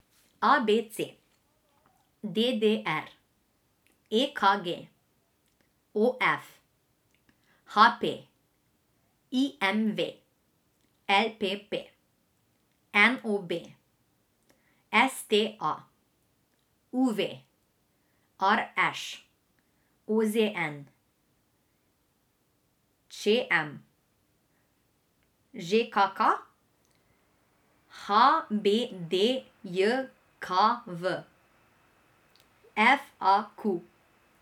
A B C; D D R; E K G; O F; H P; I M V; L P P; N O B; S T A; U V; R Š; O Z N; Č M; Ž K K; H B D J K V; F A Q.